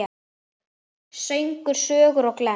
Söngur, sögur og glens.